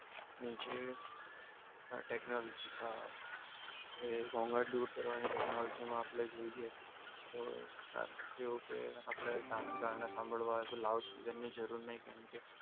નીચે ટેકનોલોજી ને હા ઘોંઘાટ દૂર કરવાની ટેકનોલોજીમાં આપણે જોઈએ તો તેઓ કે આપણી ગાના સાંભળવા હોય તો લાઉડ સ્પીકર ની જરૂર નહીં કેમકે,